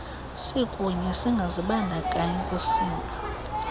sikunye singazibandakanyi kusinga